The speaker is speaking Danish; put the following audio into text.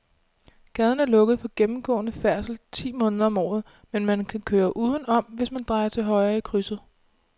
Gaden er lukket for gennemgående færdsel ti måneder om året, men man kan køre udenom, hvis man drejer til højre i krydset.